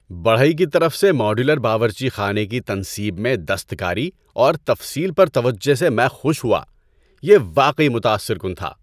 بڑھئی کی طرف سے ماڈیولر باورچی خانے کی تنصیب میں دستکاری اور تفصیل پر توجہ سے میں خوش ہوا۔ یہ واقعی متاثر کن تھا۔